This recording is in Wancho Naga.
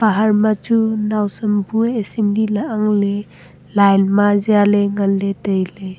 bahar machu nawsam bue assembly lah ang ley line ma zia ley ngan ley tai ley.